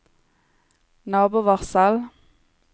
nabovarsel